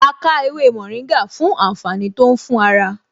A ká ewé mòríngà fún àǹfààní tó ń fún ara